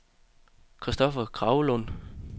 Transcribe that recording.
Christoffer Kragelund